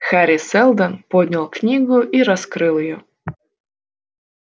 хари сэлдон поднял книгу и раскрыл её